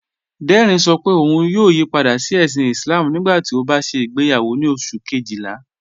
Dẹrín ṣọ́ pé ọ̀un yóò yípadà sí èṣìn Islám nígbàtí ó bá ṣẹ igbeyàwọ ni oṣù̀ kẹ́jìlá